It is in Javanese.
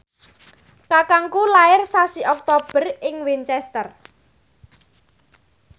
kakangku lair sasi Oktober ing Winchester